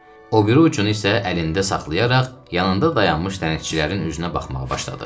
O biri ucunu isə əlində saxlayaraq yanında dayanmış dənizçilərin üzünə baxmağa başladı.